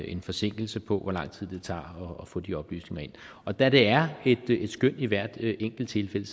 en forsinkelse på hvor lang tid det tager at få de oplysninger ind og da det er et skøn i hvert enkelt tilfælde